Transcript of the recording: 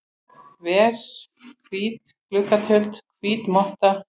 ver, hvít gluggatjöld, hvít motta.